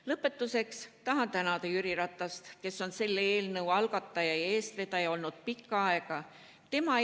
Lõpetuseks tahan tänada Jüri Ratast, kes on selle eelnõu algataja ja olnud pikka aega selle eestvedaja.